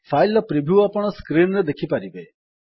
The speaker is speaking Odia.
ଫାଇଲ୍ ର ପ୍ରିଭ୍ୟୁ ଆପଣ ସ୍କ୍ରିନ୍ ଉପରେ ଦେଖିବେ